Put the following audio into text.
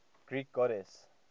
greek goddesses